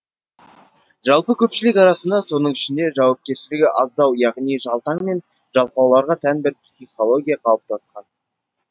жалпы көпшілік арасында соның ішінде жауапкершілігі аздау яғни жалтаң мен жалқауларға тән бір психология қалыптасқан